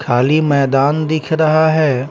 खाली मैदान दिख रहा है।